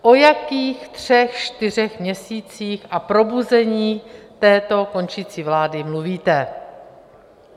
O jakých třech čtyřech měsících a probuzení této končící vlády mluvíte?